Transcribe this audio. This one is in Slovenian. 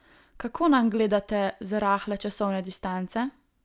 Kako nanj gledate z rahle časovne distance?